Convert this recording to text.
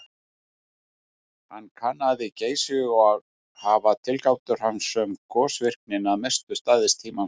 Hann kannaði Geysi og hafa tilgátur hans um gosvirknina að mestu staðist tímans tönn.